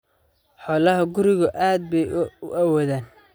Xoolaha gurigu aad bay u awoodaan.